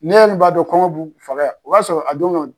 Ne yɛrɛ b'a dɔn kɔnkɔn b'u faga yan, o b'a sɔrɔ a don